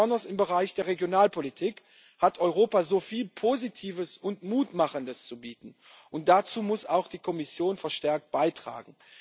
Ganz besonders im Bereich der Regionalpolitik hat Europa so viel Positives und Mutmachendes zu bieten, und dazu muss auch die Kommission verstärkt beitragen.